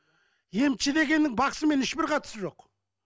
емші дегенің бақсымен ешбір қатысы жоқ